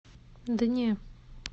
да не